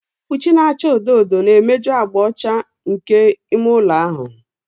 Ihe mkpuchi na-acha odo odo na-emeju agba ọcha nke me ime ụlọ ahụ.